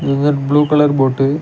இதொரு blue colour போட்டு .